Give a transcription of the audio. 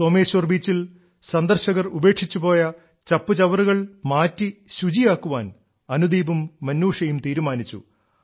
സോമേശ്വർ ബീച്ചിൽ സന്ദർശകർ ഉപേക്ഷിച്ചു പോയ ചപ്പുചവറുകൾ മാറ്റി ശുചിയാക്കാൻ അനുദീപും മിനൂഷയും തീരുമാനിച്ചു